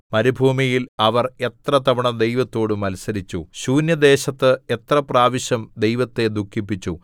മരുഭൂമിയിൽ അവർ എത്ര തവണ ദൈവത്തോട് മത്സരിച്ചു ശൂന്യദേശത്ത് എത്ര പ്രാവശ്യം ദൈവത്തെ ദുഃഖിപ്പിച്ചു